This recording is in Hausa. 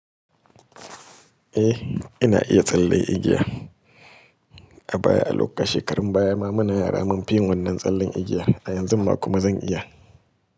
Eh, ina iya tsalle igiya. A baya, a shekarun baya ma muna yara mun fi yin wannan tsallan igiya. A yanzun ma kuma zan iya.